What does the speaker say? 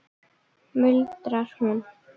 muldrar hún.